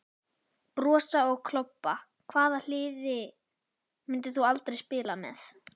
Brosa og klobba Hvaða liði myndir þú aldrei spila með?